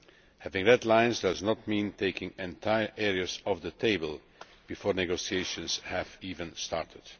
Having red lines does not mean taking entire areas off the table before negotiations have even started.